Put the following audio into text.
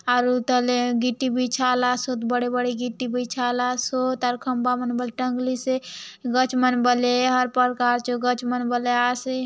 आरु तले गिटी बिछालासोद बड़े-बड़े गिटी बिछालासो तार खंबा मने बोले टंगलिसे गछ मने बोले हर पल काल जो गछ मने बोले आसे।